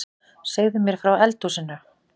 Segðu mér frá eldhúsinu